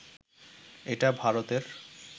এটা ভারতের